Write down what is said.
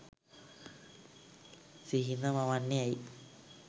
සිහින මවන්නේ ඇයි?